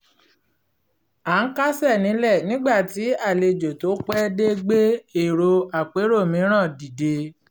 à ń kásẹ̀ nílẹ̀ nígbà tí àlejò tó pẹ́ dé gbé èrò àpérò mìíràn dìde